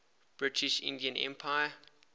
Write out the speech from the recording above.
british indian empire